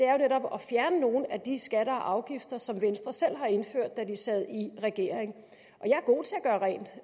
at fjerne nogle af de skatter og afgifter som venstre selv har indført da de sad i regering